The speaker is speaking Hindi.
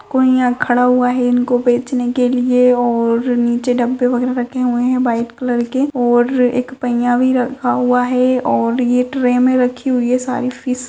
कोई यहाँ खड़ा हुआ है इनको बेचने के लिए और नीचे डब्बे वगैरा रखे हुए है व्हाइट कलर के और एक पय्या भी रखा हुआ है और ये ट्रे मे रखी हुई हैं सारी फिश ।